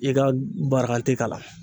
I ka barakante k'a la.